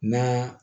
Na